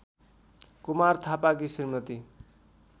कुमार थापाकी श्रीमती